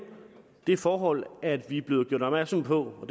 det forhold at vi er blevet gjort opmærksom på og